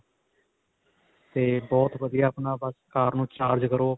ਤੇ ਬਹੁਤ ਵਧੀਆ ਆਪਣਾ ਬੱਸ ਕਾਰ ਨੂੰ charge ਕਰੋ.